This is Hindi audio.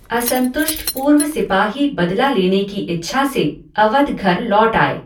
असंतुष्ट पूर्व सिपाही बदला लेने की इच्छा से अवध घर लौट आए।